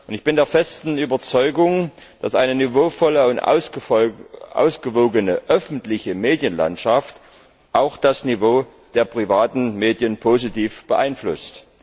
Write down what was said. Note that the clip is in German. Ich bin der festen Überzeugung, dass eine niveauvolle und ausgewogene öffentliche Medienlandschaft auch das Niveau der privaten Medien positiv beeinflusst.